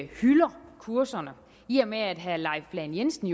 hylder kurserne i og med at herre leif lahn jensen